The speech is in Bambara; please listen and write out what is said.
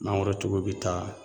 Mangoro tigiw bi taa